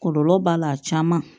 Kɔlɔlɔ b'a la a caman